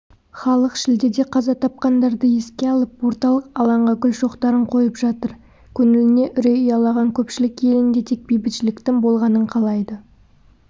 халық шілдеде қаза тапқандарды еске алып орталық алаңға гүл шоқтарын қойып жатыр көңіліне үрей ұялаған көпшілік елінде тек бейбітшіліктің болғанын қалайды